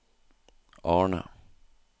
Arne